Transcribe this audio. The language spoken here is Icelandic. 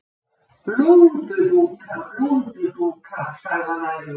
Blúndudúka, blúndudúka, sagði hann æfur.